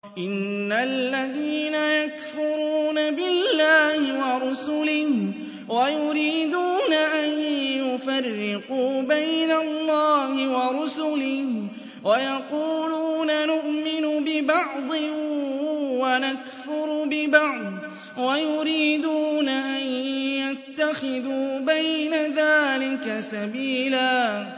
إِنَّ الَّذِينَ يَكْفُرُونَ بِاللَّهِ وَرُسُلِهِ وَيُرِيدُونَ أَن يُفَرِّقُوا بَيْنَ اللَّهِ وَرُسُلِهِ وَيَقُولُونَ نُؤْمِنُ بِبَعْضٍ وَنَكْفُرُ بِبَعْضٍ وَيُرِيدُونَ أَن يَتَّخِذُوا بَيْنَ ذَٰلِكَ سَبِيلًا